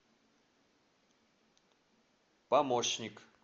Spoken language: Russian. помощник